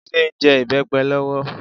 Jide n jè ibèpè lòwò